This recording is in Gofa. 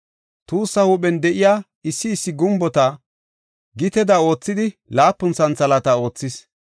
Tuussaa huuphen de7iya issi issi gumbota giteda oothida laapun santhalaata oothis.